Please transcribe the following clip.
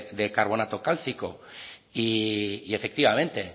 de carbonato cálcico y efectivamente